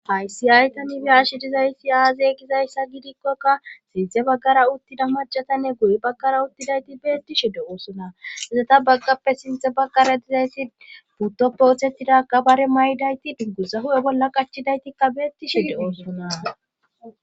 Haysi aytanibiyashe dizayssi aaze gizayssa gidikkokka sinte baggara uttida macatanne guye baggara uttidayti beettishe de7oosona hezeta baggappe sinthe baggara dizayssi puuttoppe othettidakabare may7dayti duggusa hu7e bolla qachidaytikka beettishe de7oosona.